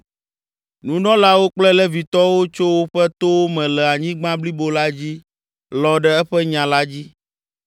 Nunɔlawo kple Levitɔwo tso woƒe towo me le anyigba blibo la dzi lɔ̃ ɖe eƒe nya la dzi.